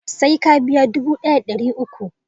Sai ka biya dubu daya da dariuku